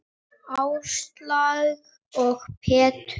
Áslaug og Pétur.